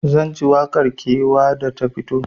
Zanji waƙar kewa da ta fito